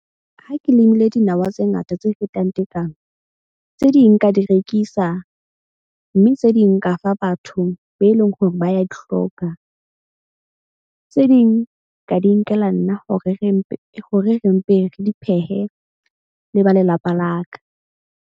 Ha ke limile dinawa tse ngata tse fetang tekano. Tse ding, nka di rekisa mme tse ding nka fa batho be leng hore ba ya di hloka. Tse ding ka di nkela nna hore re mpe re di phehe le ba lelapa la ka.